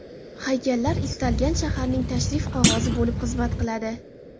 Haykallar istalgan shaharning tashrif qog‘ozi bo‘lib xizmat qiladi.